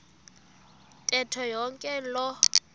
ntetho yonke loo